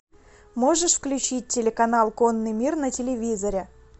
можешь включить телеканал конный мир на телевизоре